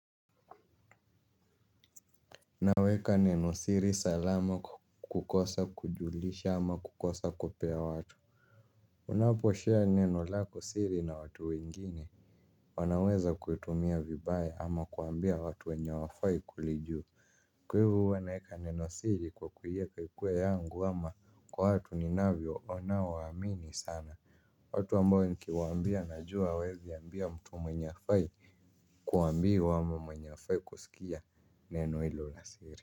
Naweka neno siri salama kukosa kujulisha ama kukosa kupea watu. Unaposhare neno lako siri na watu wengine wanaweza kuitumia vibaya ama kuambia watu wenye hawafai kulijua. Kwa hivo huwa naeka neno siri kwa kuieka ikuwe yangu ama kwa watu ninavyo wanaoamini sana. Watu ambayo nikiwambia najua hawawezi ambia mtu mwenye hafai kuambiwa ama mwenye hafai kusikia neno hilo la siri.